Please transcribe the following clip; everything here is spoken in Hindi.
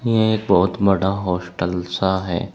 ये एक बहोत बड़ा हॉस्टल सा है।